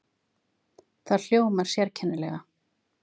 Það hljómar sérkennilega.